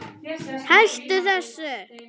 Hættu þessu!